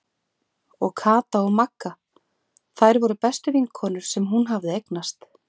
Og Kata og Magga, þær voru bestu vinkonur sem hún hafði eignast.